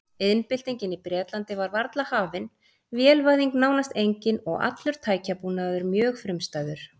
Iðnbyltingin í Bretlandi var varla hafin, vélvæðing nánast engin og allur tækjabúnaður mjög frumstæður.